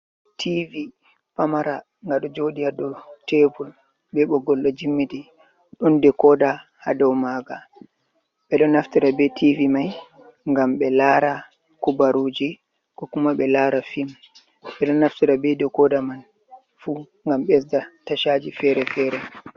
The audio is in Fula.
Tivi pamara nga ɗo joɗi ha dou tebul be ɓogol ɗo jimiti, ɗon de koda ha dow maga, ɓeɗo naftira be tv mai ngam ɓe lara kubaruji, kokuma ɓe lara film, ɓeɗo naftira be de koda man fu ngam ɓesda tashaji fere-fere.